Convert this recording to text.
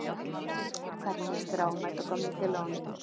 Hvernig lýst þér á að mæta gömlu félögunum?